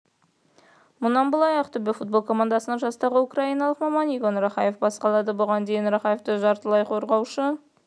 мұнан былай ақтөбе футбол командасын жастағы украиналық маман игорь рахаев басқарады бұған дейін рахаев жартылай қорғаушы